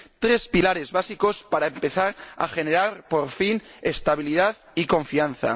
Tres pilares básicos para empezar a generar, por fin, estabilidad y confianza.